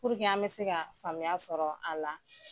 an bɛ se ka faamuya sɔrɔ a la.